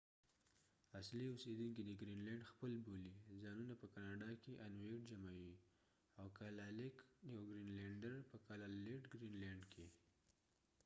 اصلی اوسیدونکې د ګرین لینډ خپل ځانونه په کاناډا کې انويټinuit بولی ، او کالالیک kalaaliq جمع یې کالالیټkalaalit یو ګرینلیډر ، په ګرین لینډ کې